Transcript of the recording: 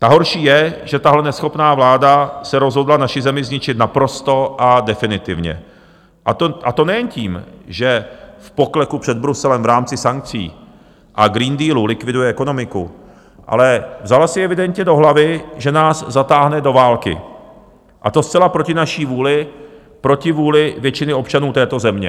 Ta horší je, že tahle neschopná vláda se rozhodla naši zemi zničit naprosto a definitivně, a to nejen tím, že v pokleku před Bruselem v rámci sankcí a Green Dealu likviduje ekonomiku, ale vzala si evidentně do hlavy, že nás zatáhne do války, a to zcela proti naší vůli, proti vůli většiny občanů této země.